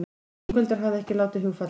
Ingveldur hafði ekki látið hugfallast.